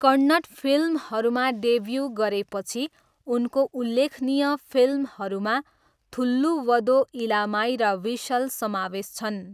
कन्नड फिल्महरूमा डेब्यू गरेपछि उनको उल्लेखनीय फिल्महरूमा थुल्लुवधो इलामाई र व्हिसल समावेश छन्।